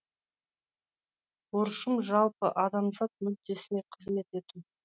борышым жалпы адамзат мүддесіне қызмет ету